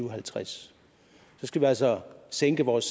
og halvtreds så skal vi altså sænke vores